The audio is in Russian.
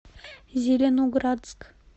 зеленоградск